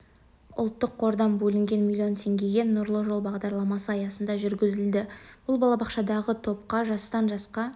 ұлттық қордан бөлінген млн теңгеге нұрлы жол бағдарламасы аясында жүргізілді бұл балабақшадағы топқа жастан жасқа